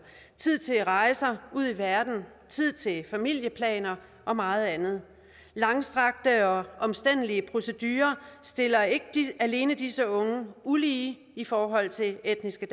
tid til rejser ud i verden tid til familieplaner og meget andet langstrakte og omstændelige procedurer stiller ikke alene disse unge ulige i forhold til etniske